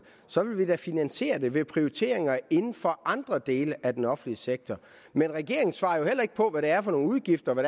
så vil vi da finansiere det ved prioriteringer inden for andre dele af den offentlige sektor men regeringen svarer jo heller ikke på hvad er for nogle udgifter og